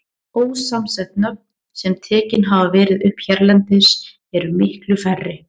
Ósamsett nöfn, sem tekin hafa verið upp hérlendis, eru miklu færri.